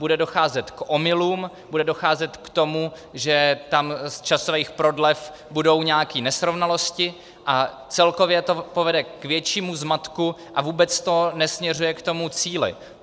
Bude docházet k omylům, bude docházet k tomu, že tam z časových prodlev budou nějaké nesrovnalosti, a celkově to povede k většímu zmatku a vůbec to nesměřuje k tomu cíli.